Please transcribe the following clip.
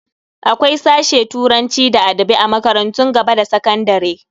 Akwai sashe turanci da adabi a makarantun gaba da sakandare.